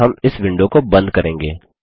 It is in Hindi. और हम इस विंडो को बंद करेंगे